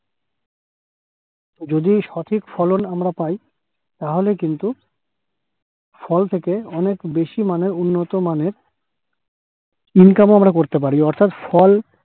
যদি সঠিক ফলন আমরা পাই, তাহলে কিন্তু ফল থেকে অনেক বেশি মানের উন্নত মানের income আমরা করতে পার অর্থাৎ ফল